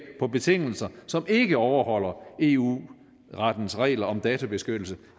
på betingelser som ikke overholder eu rettens regler om databeskyttelse